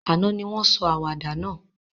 Àná ni won sọ àwàdà náà